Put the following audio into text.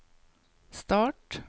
start